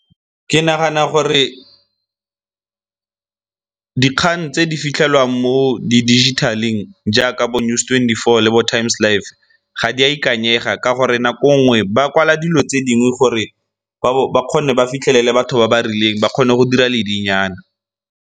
Ke nagana gore dikgang tse di fitlhelwang mo di-digital-eng jaaka bo News twenty-four le bo Times Live ga di a ikanyega ka gore nako nngwe ba kwala dilo tse dingwe gore ba kgone ba fitlhelele batho ba ba rileng ba kgone go dira ledi nyana.